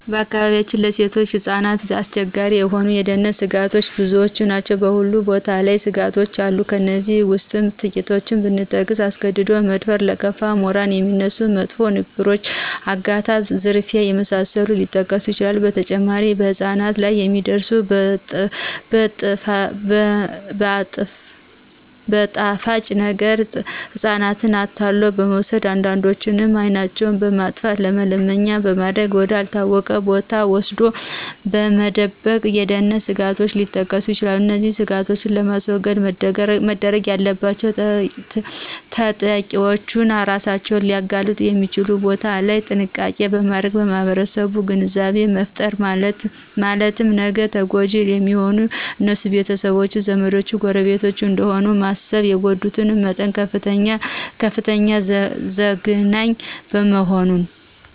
በአካባቢያችን ለሴቶችና ህጻናት አስቸጋሪ የሆኑ የደህንነተ ስጋቶች ብዙ ናቸው በሁሉም ቦታ ላይ ስጋቶች አሉ ከእነዚህ ውስጥ ትቂቶቹን ብጠቅስ አስገድዶ የመድፈር :ለከፋ :ሞራልን የሚነኩ መጥፎ ንግግሮች :አገታ :ዝርፊያ የመሳሰሉት ሊጠቀሱ ይችላሉ በተጨማሪም በህጻናት ላይ የሚደርሱት በጣፋጭ ነገረ ህጻናትን አታሎ በመውሰድ አንዳንዶችንም አይናቸውን በማጥፋተ መለመኛ ማድረግ ወደ አልታወቀ ቦታ ወስዶ መደበቅ የደህንነት ስጋቶች ሊጠቀሱ ይችላሉ። እነዚህን ስጋቶች ለማስወገድ መደረግ ያለባቸውተጠቂዎች እራሳቸውን ሊያጋልጡ የሚችሉ ቦታዎች ላይ ጥንቃቄ ማድረግና የማህረሰቡን ግንዛቤ መፍጠር ነው ማለትም ነገ ተጎጅ የሚሆኑት የነሱ ቤተሰቦች :ዘመዶች :ጎረቤቶች እደሆኑ በማሰብ የጉዳቱ መጠን ከፍተኛና ዘግናኝ መሆኑ